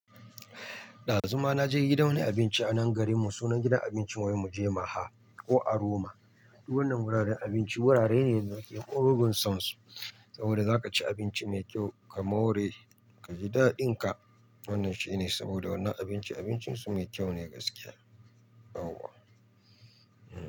Dazuma naje gidan wani abinci a nan garin mu sunan gidan abinci wai muje maha ko aroma. Duk wannan wuraren abinci wurare ne da nakee mugun san su saboda zaka ci abinci mai kyau ka more ka ji daɗin ka. Wannan shine saboda wannan abinci abincin su mai kyau ne gaskiya.